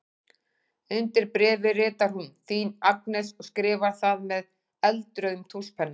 Undir bréfið ritar hún: Þín Agnes og skrifar það með eldrauðum tússpenna.